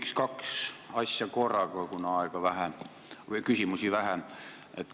Küsin kaks asja korraga, kuna küsimusi saab esitada vähe.